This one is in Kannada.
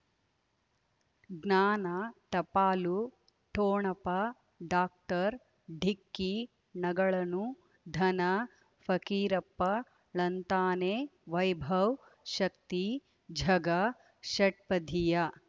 ಜ್ಞಾನ ಟಪಾಲು ಠೊಣಪ ಡಾಕ್ಟರ್ ಢಿಕ್ಕಿ ಣಗಳನು ಧನ ಫಕೀರಪ್ಪ ಳಂತಾನೆ ವೈಭವ್ ಶಕ್ತಿ ಝಗಾ ಷಟ್ಪದಿಯ